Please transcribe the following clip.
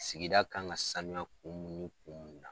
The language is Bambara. Sigida kan ŋa sanuya kun mun ni kun mun na